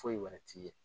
Foyi wɛrɛ t'i ye